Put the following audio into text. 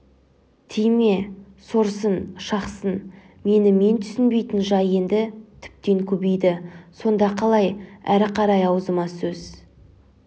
тиме сорсын шақсын мені мен түсінбейтін жай енді тіптен көбейді сонда қалай әрі қарай аузыма сөз